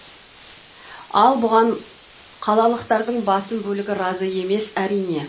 ал бұған қалалықтардың басым бөлігі разы емес әрине